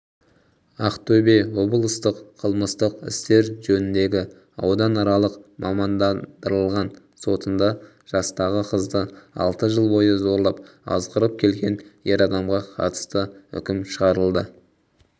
ақтөбе облыстық қылмыстық істер жөніндегі ауданаралық мамандандырылған сотында жастағы қызды алты жыл бойы зорлап азғырып келген ер адамға қатысты үкім шығарылды